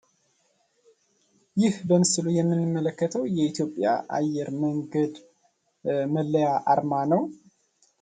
ይህ በምስሉ ላይ የምንመለከተው የኢትዮጵያ አየር መንገድ መለያ አርማ ነው።